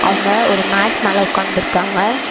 அவங்க ஒரு மேட் மேல உக்காந்திருக்காங்க.